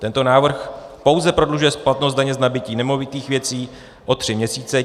Tento návrh pouze prodlužuje splatnost daně z nabytí nemovitých věcí o tři měsíce.